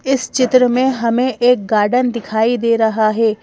इस चित्र में हमें एक गार्डन दिखाई दे रहा है।